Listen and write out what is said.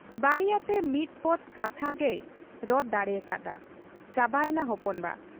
ᱵᱟᱹᱲᱤᱭᱟᱹᱛᱮ ᱢᱤᱫ ᱯᱚᱫᱽ ᱠᱟᱛᱷᱟ ᱜᱮᱭ ᱨᱚᱲ ᱫᱟᱲᱮᱭᱟᱠᱟ ᱦᱟᱫ ᱟ, ᱪᱟᱵᱟᱭᱮᱱᱟ ᱦᱚᱯᱚᱱ ᱵᱟ !